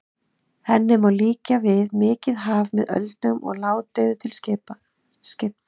Henni má líkja við mikið haf með öldum og ládeyðu til skipta.